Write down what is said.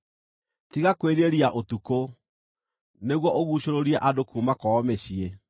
Tiga kwĩrirĩria ũtukũ, nĩguo ũguucũrũrie andũ kuuma kwao mĩciĩ.